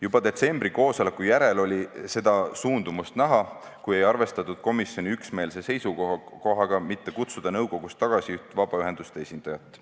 Juba detsembri koosoleku järel oli seda suundumust näha, kui ei arvestatud komisjoni üksmeelse seisukohaga mitte kutsuda nõukogust tagasi üht vabaühenduste esindajat.